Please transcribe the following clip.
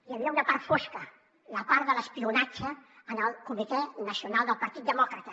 hi havia una part fosca la part de l’espionatge al comitè nacional del partit demòcrata